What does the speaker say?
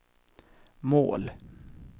mål